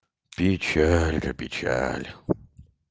печалька печаль